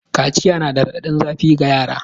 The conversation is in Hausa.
Kaciya na da raɗaɗin zafiga yara.